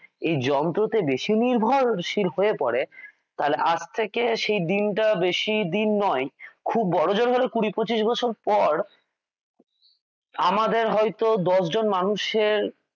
এই যন্ত্রতে বেশী নির্ভরশীল হয়ে পড়ে তাহলে আজ থেকে সেই দিন টা বেশি দিন নয় খুব বড়জোর হলে কুড়ি পঁচিশ বছর পর আমাদের হয়ত দশজন মানুষের